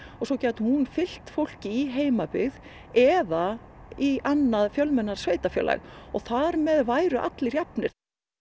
svo gæti hún fylgt fólki í heimabyggð eða í annað fjölmennara sveitarfélag og þar með væru allir jafnir